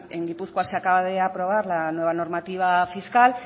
en gipuzkoa se acaba de aprobar la nueva normativa fiscal